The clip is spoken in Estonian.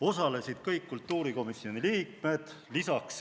Osalesid kõik kultuurikomisjoni liikmed.